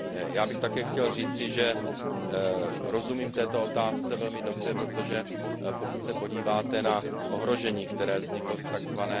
Já bych také chtěl říci, že rozumím této otázce velmi dobře, protože pokud se podíváte na ohrožení, které vzniklo z tzv.